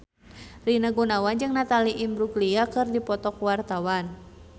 Rina Gunawan jeung Natalie Imbruglia keur dipoto ku wartawan